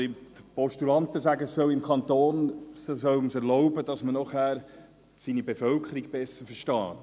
Die Postulanten sagen, man solle es im Kanton erlauben, damit man danach seine Bevölkerung besser versteht.